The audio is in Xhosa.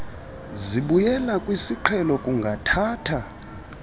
zibuyela kwisiqhelo kungathatha